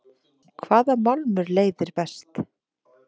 hvaða málmur leiðir best